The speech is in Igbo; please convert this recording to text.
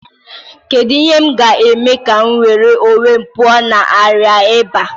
Kedu ihe m ga-eme ka m nwere onwe m pụọ na arịa ịba?